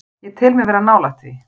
Ég tel mig vera nálægt því.